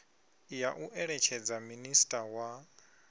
ya u eletshedza minisiṱa wa